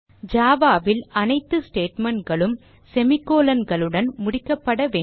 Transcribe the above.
Java ல் அனைத்து statement களும் semicolon களுடன் முடிக்கப்பட வேண்டும்